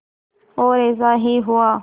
और ऐसा ही हुआ